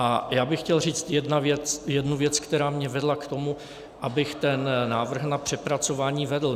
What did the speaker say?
A já bych chtěl říct jednu věc, která mě vedla k tomu, abych ten návrh na přepracování vedl.